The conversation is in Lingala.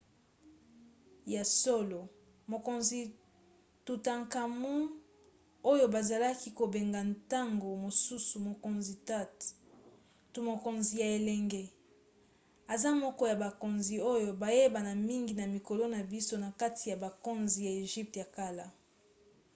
ya solo! mokonzi tutankhamun oyo bazalaki kobenga ntango mosusu mokonzi tut to mokonzi ya elenge aza moko ya bakonzi oyo bayebana mingi na mikolo na biso na kati ya bakonzi ya egypte ya kala